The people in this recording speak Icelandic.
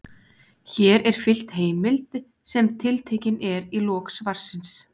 Hér er fylgt heimild sem tiltekin er í lok svarsins.